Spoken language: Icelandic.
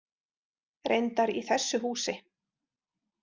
Reyndar í þessu húsi.